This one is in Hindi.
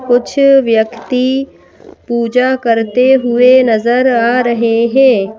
कुछ व्यक्ति पूजा करते हुए नजर आ रहे हैं।